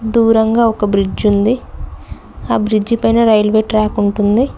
దూరంగా ఒక బ్రిడ్జ్ ఉంది ఆ బ్రిడ్జ్ పైన రైల్వే ట్రాక్ ఉంటుంది.